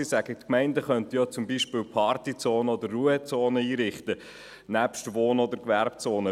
Er sagt, die Gemeinden könnten zum Beispiel Party- oder Ruhezonen einrichten, nebst Wohn- und Gewerbezonen.